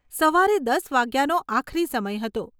સવારે દસ વાગ્યાનો આખરી સમય હતો.